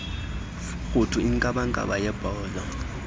rhuthu inkabankaba yebhozo